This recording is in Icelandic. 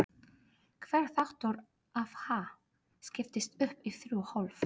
Hver þáttur af Ha? skiptist upp í þrjú hólf.